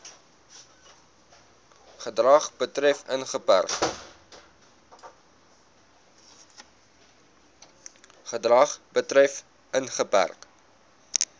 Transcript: gedrag betref ingeperk